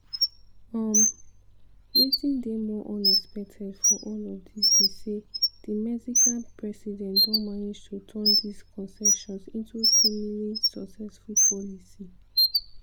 um wetin dey more unexpected for all of dis be say di mexican president don manage to turn dis concessions into seemingly successful policy.